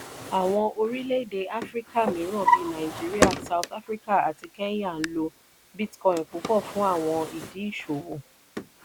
áwọn orilẹ-ède áfíríkà mìíràn bí nàìjíríà south africa àti kenya n lo bitcoin púpọ fún àwọn ìdí ìṣòwò.